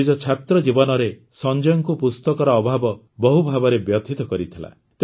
ନିଜ ଛାତ୍ର ଜୀବନରେ ସଂଜୟଙ୍କୁ ପୁସ୍ତକର ଅଭାବ ବହୁଭାବରେ ବ୍ୟଥିତ କରିଥିଲା